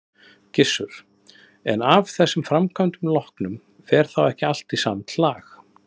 Gissur: En af þessum framkvæmdum loknum, fer þá ekki allt í samt lag?